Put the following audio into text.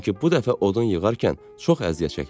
Çünki bu dəfə odun yığarkən çox əziyyət çəkmişdi.